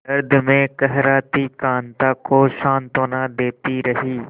दर्द में कराहती कांता को सांत्वना देती रही